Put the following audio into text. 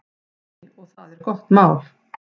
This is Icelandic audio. Nei, og það er gott mál.